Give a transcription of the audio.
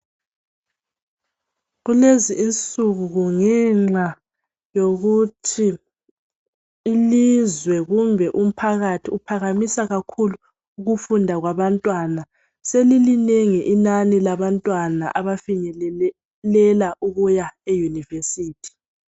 Kulezi insuku ngenxa yokuthi ilizwe kumbe umphakathi uphakamisa kakhulu ukufunda kwabamtwana. Selilinengi, inani labantwana. Abafinyelela ukuya e-university.